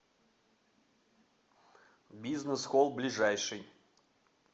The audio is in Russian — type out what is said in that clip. бизнес холл ближайший